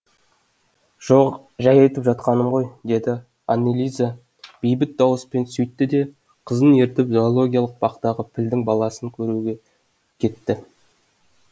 жоқ жай айтып жатқаным ғой деді аннелиза бейбіт дауыспен сөйтті де қызын ертіп зоологиялық бақтағы пілдің баласын көруге кетті